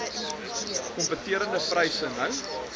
kompeterende pryse nou